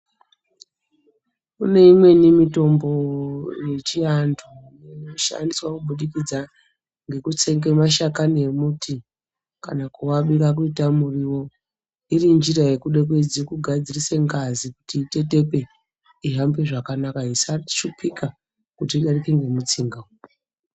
Kune imweni mitombo yechiantu inoshandiswa kubudikidza ngekutsenga mashakani emuti kana kuarunga kuita muriwo iri njira yekuda kuedza kugadzirise ngazi kuti itetepe ihambe zvakanaka isashupika kuti idarike ngemutsinga .